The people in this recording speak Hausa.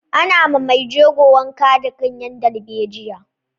Ana ma mai jego wanka da ganyen dalbejiya.